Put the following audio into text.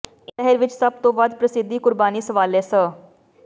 ਇਸ ਲਹਿਰ ਵਿੱਚ ਸਭ ਤੋਂ ਵੱਧ ਪ੍ਰਸਿੱਧੀ ਕੁਰਬਾਨੀ ਸਵਾਲੇ ਸ